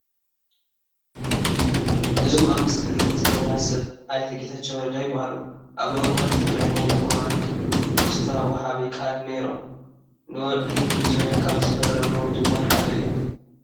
እዞም ኣብ ምስሊ ንሪኦም ዘለና ሰብ ኣይተ ጌታቸው ረዳ ይበሃሉ፡፡ ኣብ እዋን ኲናት ትግራይ ናይ ኮማንድ ፖስት ወሃቢ ቃል ነይሮም፡፡ ንውዕሊ ፕሪቶርያ ካብ ዝፈረሙ ድማ ሓደ እዮም፡፡